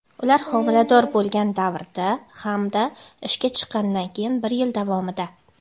ular homilador bo‘lgan davrda hamda ishga chiqqanidan keyin bir yil davomida;.